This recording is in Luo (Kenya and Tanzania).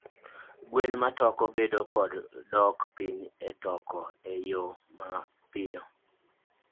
Ngwen matoko bedo kod dok piny etoko eyo ma apoya.